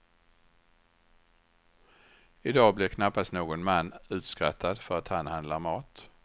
I dag blir knappast någon man utskrattad för att han handlar mat.